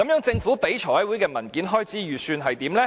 政府向財委會提交的文件開支預算是怎樣的呢？